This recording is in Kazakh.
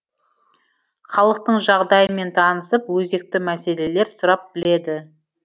халықтың жағдайымен танысып өзекті мәселелер сұрап біледі